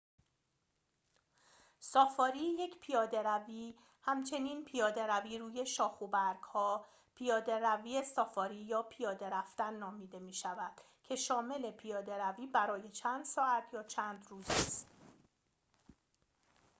سافاری یک پیاده‌روی همچنین «پیاده‌روی روی شاخ و برگ‌ها» ، «پیاده‌روی سافاری» یا «پیاده رفتن» نامیده می‌شود که شامل پیاده‌روی برای چند ساعت یا چند روز است